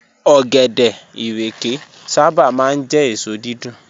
Ọ̀gẹ̀dẹ̀, ìrèké sábà máa ń jẹ́ èso dídùn